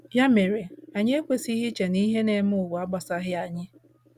Ya mere, anyị ekwesịghị iche na ihe na - eme ụwa a agbasaghị anyị.